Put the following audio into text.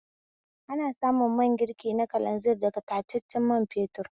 Ana samun man girki na kalanzir daga tataccen man fetur